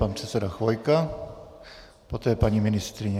Pan předseda Chvojka, poté paní ministryně.